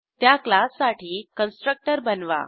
त्या क्लाससाठी कन्स्ट्रक्टर बनवा